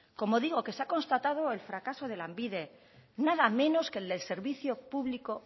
como digo que se ha constatado el fracaso de lanbide nada menos que el servicio público